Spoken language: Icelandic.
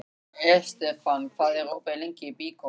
Estefan, hvað er opið lengi í Byko?